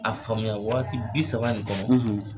A faamuya waati bi saba nin kɔnɔ,